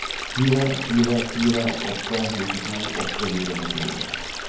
fire fire fire åtte nittito åtte hundre og syttini